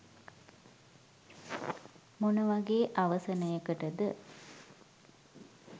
මොන වගේ අවසනයකටද